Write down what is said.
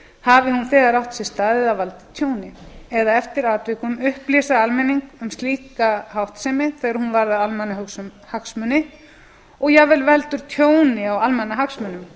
hafi hún þegar átt sér stað eða valdið tjóni eða eftir atvikum upplýsa almenning um slíka háttsemi þegar hún varðar almannahagsmuni og jafnvel veldur tjóni á almannahagsmunum